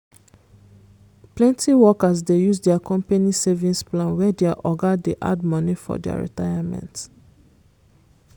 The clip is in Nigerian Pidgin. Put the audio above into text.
plenty workers dey use their company savings plan where their oga dey add money for dia retirement.